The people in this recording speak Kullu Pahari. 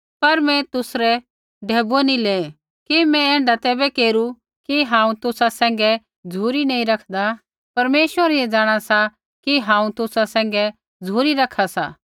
मैं तुसरै ढैबुऐ किबै नी लेऐ कि मैं ऐण्ढा तैबै केरू कि हांऊँ तुसा सैंघै झ़ुरी नी रखदा परमेश्वर ऐ जाँणा सा कि हांऊँ तुसा सैंघै झ़ुरी रखा सा